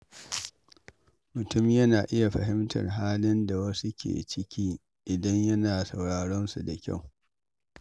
Mutum yana iya fahimtar halin da wasu ke ciki idan yana sauraron su da kyau.